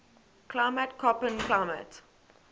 climate koppen climate